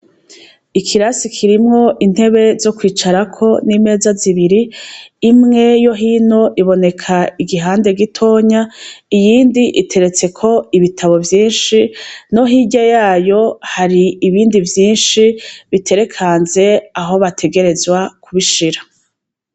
Ikirasi kirimwo intebe zo kwicarako nimeza zibiri imwe yo hino iboneka igihande gitonya iyindi iteretseko ibitabo vyinshi no hirya yayo hari ibindi vyinshi biterekanze aho bategerezwa kubishira